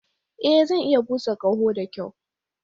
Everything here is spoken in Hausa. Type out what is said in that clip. Ee, Zan iya busa ƙaho da kyau.